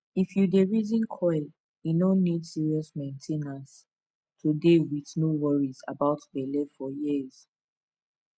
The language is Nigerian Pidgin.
if you dey reason coil e no need serious main ten ance to dey with no worries about belle for years